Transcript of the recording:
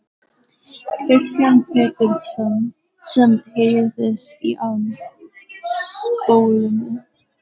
Kristján Pétursson sem heyrðist í á spólunni.